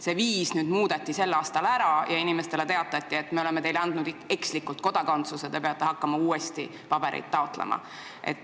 See viis muudeti sellel aastal ära ja inimestele teatati, et me oleme andnud teile kodakondsuse ekslikult, te peate hakkama uuesti pabereid taotlema.